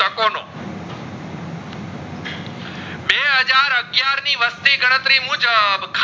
ખ્યાર ની વસ્તી ગણતરી મુજબ